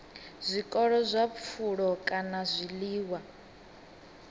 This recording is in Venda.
zwiko zwa pfulo kana zwiḽiwa